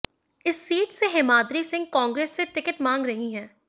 इसी सीट से हेमाद्रि सिंह कांग्रेस से टिकट मांग रही हैं